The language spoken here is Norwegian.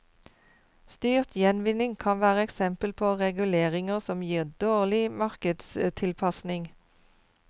Styrt gjenvinning kan være eksempel på reguleringer som gir dårlig markedstilpasning.